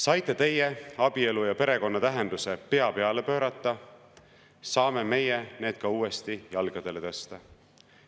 Saite teie abielu ja perekonna tähenduse pea peale pöörata, saame meie selle uuesti jalgadele tõsta.